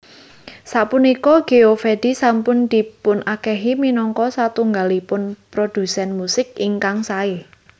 Sapunika Geovedi sampun dipunakeni minangka satunggalipun prodhusen musik ingkang sae